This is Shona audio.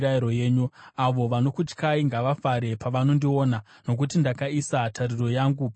Avo vanokutyai ngavafare pavanondiona, nokuti ndakaisa tariro yangu pashoko renyu.